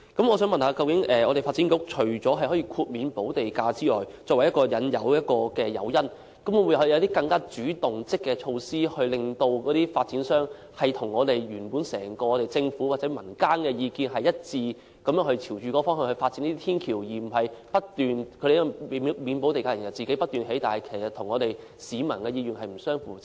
我想問發展局，除了以豁免補地價提供誘因之外，究竟會否採取一些更主動和積極的措施，令發展商與整個政府或民間的意見一致，然後朝着這方向發展天橋，而不是豁免補地價之後讓發展商不斷興建天橋，但卻與市民的意願不相符。